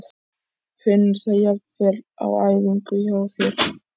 Finnurðu það jafnvel á æfingum hjá þér?